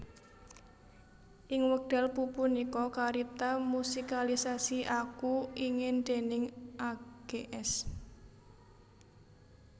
Ing wekdal pupunika karipta musikalisasi Aku Ingin déning Ags